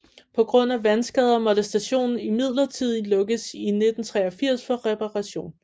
På grund af vandskader måtte stationen imidlertid lukkes i 1983 for reparation